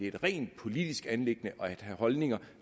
et rent politisk anliggende at have holdninger